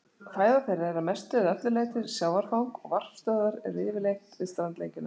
Fæða þeirra er að mestu eða öllu leyti sjávarfang og varpstöðvar eru yfirleitt við strandlengjuna.